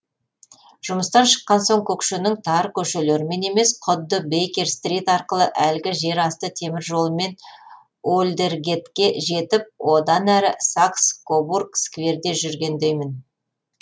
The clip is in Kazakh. жұмыстан шыққан соң көкшенің тар көшелерімен емес құдды бейкер стрит арқылы әлгі жер асты темір жолымен олдергетке жетіп одан әрі сакс кобург скверде жүргендеймін